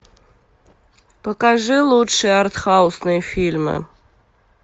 покажи лучшие артхаусные фильмы